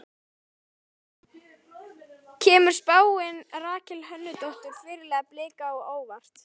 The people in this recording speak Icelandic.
Kemur spáin Rakel Hönnudóttur, fyrirliða Blika á óvart?